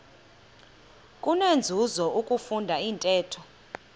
kunenzuzo ukufunda intetho